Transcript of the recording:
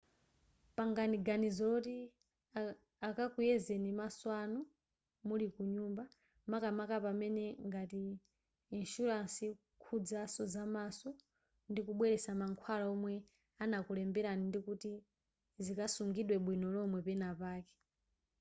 pangani ganizo loti akakuyezeni maso anu muli kunyumba makamaka pamene ngati insuransi ikukhuzaso zamaso ndikubweretsa mankhwala omwe anakulemberani ndikuti zikasungidwe bwino lomwe penapake